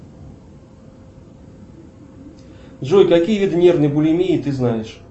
джой какие виды нервной булимии ты знаешь